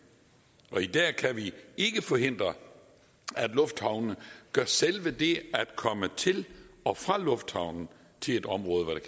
i dag kan vi ikke forhindre at lufthavne gør selve det at komme til og fra lufthavnen til et område hvor der